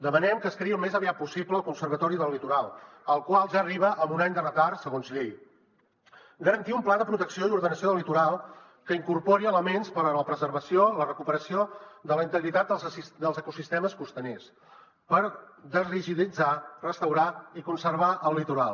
demanem que es creï al més aviat possible el conservatori del litoral el qual ja arriba amb un any de retard segons llei garantir un pla de protecció i ordenació del litoral que incorpori elements per a la preservació i la recuperació de la integritat dels ecosistemes costaners per desrigiditzar restaurar i conservar el litoral